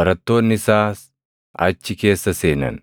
barattoonni isaas achi keessa seenan.